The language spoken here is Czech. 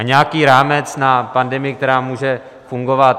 A nějaký rámec na pandemii, která může fungovat...